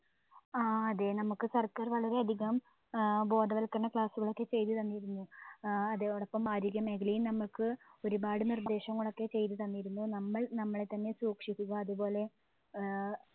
ആ അതെ നമ്മുക്ക് സർക്കാർ വളരെ അധികം ആഹ് ബോധവൽക്കരണ class ഉകളൊക്കെ ചെയ്തു തന്നിരുന്നു. അഹ് അതോടൊപ്പം ആരോഗ്യ മേഖലയും നമ്മുക്ക് ഒരുപാട് നിർദ്ദേശങ്ങളൊക്കെ ചെയ്ത തന്നിരുന്നു. നമ്മൾ നമ്മളെത്തന്നെ സൂക്ഷിക്കുക അതുപോലെ ഏർ